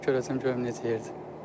Düz gedib görəcəm görüm necə yerdir.